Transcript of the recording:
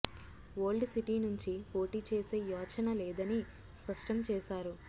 old city నుంచి పోటీ చేసే యోచన లేదని స్పష్టం చేశారు